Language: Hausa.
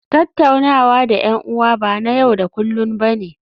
Tattaunawa da 'yan'uwa ba na yau da kullun ba ne